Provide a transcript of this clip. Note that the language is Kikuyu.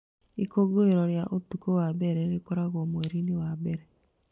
Ikũngũĩro rĩa ũtukũ wa mbere rĩkagwo mweri-inĩ wa mbere.